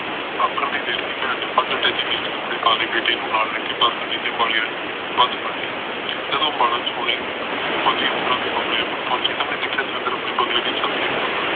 ਆਖਣ ਦੀ ਦੇਰ ਸੀ ਭੈਣ ਨੇ ਫੱਟ ਟੈਚੀ ਚ ਕਪੜੇ ਪਾਲੇ ਬੇਟੇ ਨੂੰ ਨਾਲ ਲੈਕੇ ਬੱਸ ਅੱਡੇ ਤੇ ਅੰਬਾਲੇ ਆਲੀ ਬਸ ਫੜ ਲਈ ਜਦੋ ਬਸ ਅੰਬਾਲਾ ਛਾਉਣੀ ਫੋਜੀ ਅਫਸਰਾਂ ਦੇ ਬੰਗਲਿਆ ਕੋਲ ਪਹੁਚੀ ਤਾ ਉਸ ਨੇ ਦੇਖਿਆ ਦਵਿੰਦਰ ਆਪਣੇ ਬੰਗਲੇ ਦੀ ਛੱਤ ਤੇ ਖਲੋਤਾ ਸੀ